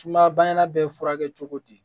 Sumayabana bɛ furakɛ cogo di